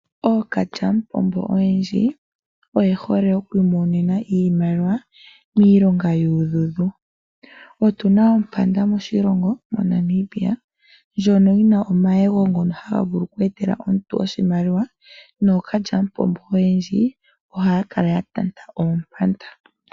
Ookalya mupombo oyendji oyehole okwiimonena iimaliwa miilonga yuudhudhu. Otuna Ompanda moshilongo moNamibia lyono yina omayego ngono haga vulu oku etela omuntu oshimaliwa nookalya mupombo oyendji ohaya kala yatanta Oompanda.